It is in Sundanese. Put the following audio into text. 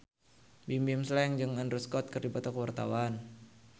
Bimbim Slank jeung Andrew Scott keur dipoto ku wartawan